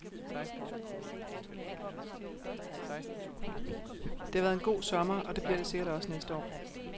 Det har været en god sommer, og det bliver det sikkert også næste år.